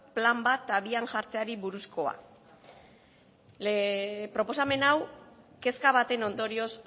plan bat abian jarriari buruzkoa proposamen hau kezka baten ondorioz